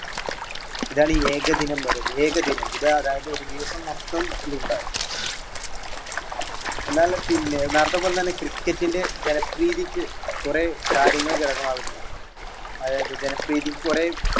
ഇതാണ് ഏകദിനം എന്ന് പറയുന്നത് ഏകദിന ഇതാ അതായത് ഒരു ദിവസംമൊത്തം ഇതുണ്ടാകും എന്നാൽ പിന്നെ നേരെത്തെ പോലെ തന്നെ cricket ന്റെ ജനപ്രീതിക്ക് കുറെ കാര്യങ്ങൾ ഘടകമാകുന്നുണ്ട്. അതായത് ജനപ്രീതിക്ക് കുറെ